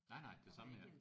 Nej nej det samme her